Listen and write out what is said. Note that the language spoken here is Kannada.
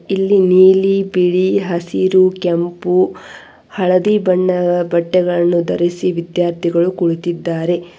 ಇಲ್ಲಿ ನೀಲಿ ಬಿಳಿ ಹಸಿರು ಕೆಂಪು ಹಳದಿ ಬಣ್ಣ ಬಟ್ಟೆಗಳನ್ನು ಧರಿಸಿ ವಿದ್ಯಾರ್ಥಿಗಳು ಕುಳಿತಿದ್ದಾರೆ.